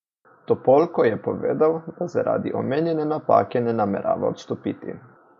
Topolko je povedal, da zaradi omenjene napake ne namerava odstopiti.